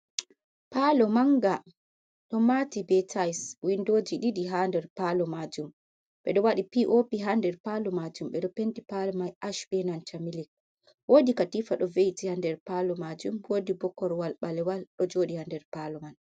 palo manga ,do mati be tayis ,windoji didi ha der palo majum, bedo wadi p.o.p ha nder palo majum ,bedo penti palo mai ash benan ta milik ,wodi katifa do veiti ha nder palo majum wodi bo korwal balewal do jodi ha nder palo man.